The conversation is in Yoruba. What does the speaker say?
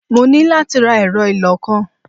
Mo ní láti ra ẹ̀rọ ìlọ-nǹkan.